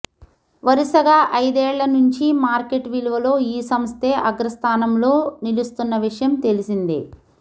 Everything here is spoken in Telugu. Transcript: వరుసగా ఐదేళ్ల నుంచి మార్కెట్ విలువలో ఈ సంస్థే అగ్రస్థానంలో నిలు స్తున్న విషయం తెలిసిందే